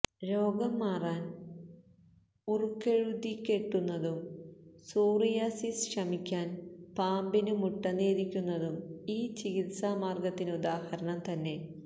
രോഗം മാറാൻ ഉറുക്കെഴുതിക്കെട്ടുന്നതും സോറിയാസിസ്സ് ശമിക്കാൻ പാമ്പിനു മുട്ട നേദിക്കുന്നതും ഈ ചികിത്സമാർഗത്തിനുദാഹരണം തന്നെ